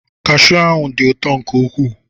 Kashiu ahụ dị ụtọ nke ukwuu.